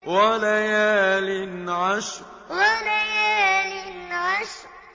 وَلَيَالٍ عَشْرٍ وَلَيَالٍ عَشْرٍ